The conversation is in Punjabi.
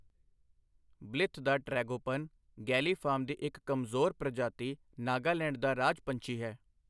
ਬਲਿਥ ਦਾ ਟ੍ਰੈਗੋਪਨ, ਗੈਲੀਫਾਰਮ ਦੀ ਇੱਕ ਕਮਜ਼ੋਰ ਪ੍ਰਜਾਤੀ, ਨਾਗਾਲੈਂਡ ਦਾ ਰਾਜ ਪੰਛੀ ਹੈ।